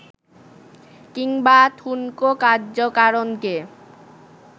কিংবা ঠুনকো কার্যকারণকে